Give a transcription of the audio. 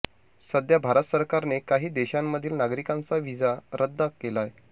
सध्या भारत सरकारने काही देशांमधील नागरिकांचा व्हिसा रद्दा केलाय